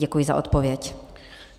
Děkuji za odpověď.